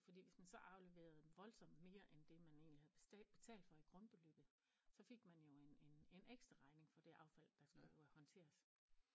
Fordi hvis man så afleverede voldsomt mere end det man egentlig havde betalt for i grundbeløbet så fik man jo en en en ekstra regning for det affald der skulle håndteres